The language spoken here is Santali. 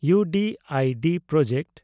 ᱤᱭᱩᱰᱤᱰ ᱯᱨᱚᱡᱮᱠᱴ